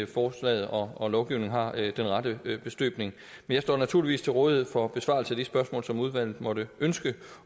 forslaget og lovgivningen er af den rette støbning jeg står naturligvis til rådighed for besvarelse af de spørgsmål som udvalget måtte ønske